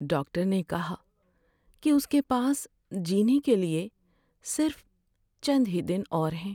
Doctor نے کہا کہ اس کے پاس جینے کے لیے صرف چند ہی دن اور ہیں۔